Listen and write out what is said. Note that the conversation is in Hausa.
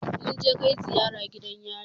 Mun je kai ziyara gidan yari